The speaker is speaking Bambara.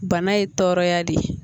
Bana ye tɔɔrɔya de ye